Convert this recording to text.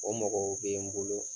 O mɔgɔ bɛ n bolo.